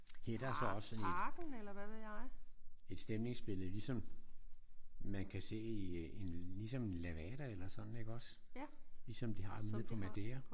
Her er der så også et stemningsbillede ligesom man kan se i en ligesom levada eller sådan iggås? Ligesom de har nede på Maderia